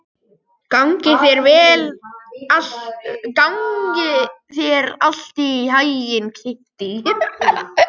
Gangi þér allt í haginn, Kittý.